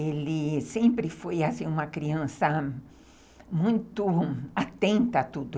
Ele sempre foi assim, uma criança muito atenta a tudo.